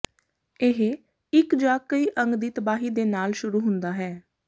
ਇਹ ਇੱਕ ਜ ਕਈ ਅੰਗ ਦੀ ਤਬਾਹੀ ਦੇ ਨਾਲ ਸ਼ੁਰੂ ਹੁੰਦਾ ਹੈ